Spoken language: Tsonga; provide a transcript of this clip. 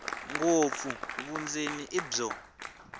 ngopfu vundzeni i byo